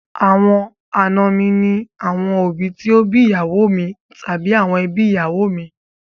Àwọn àna mi ní àwọn òbí tó bí ìyàwó mi tàbí àwọn èbí ìyàwó mi.